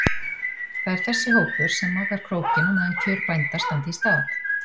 Það er þessi hópur sem makar krókinn á meðan kjör bænda standa í stað.